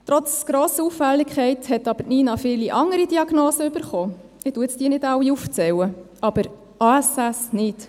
Trotz grosser Auffälligkeit hat Nina aber viele andere Diagnosen erhalten – ich zähle diese jetzt nicht alle auf –, aber ASS nicht.